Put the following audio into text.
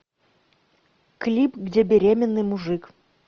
клип где беременный мужик